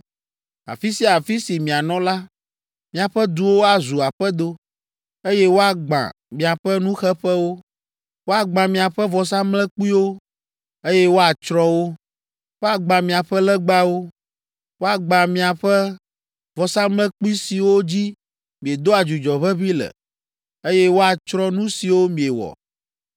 Afi sia afi si mianɔ la, miaƒe duwo azu aƒedo, eye woagbã miaƒe nuxeƒewo, woagbã miaƒe vɔsamlekpuiwo, eye woatsrɔ̃ wo; woagbã miaƒe legbawo, woagbã miaƒe vɔsamlekpui siwo dzi miedoa dzudzɔ ʋeʋĩ le, eye woatsrɔ̃ nu siwo miewɔ.